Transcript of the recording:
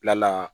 Bila la